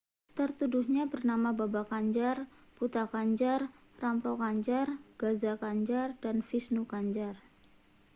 tertuduhnya bernama baba kanjar bhutha kanjar rampro kanjar gaza kanjar dan vishnu kanjar